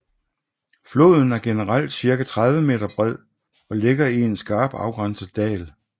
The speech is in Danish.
Floden er generelt cirka 30 m bred og ligger i en skarpt afgrænset dal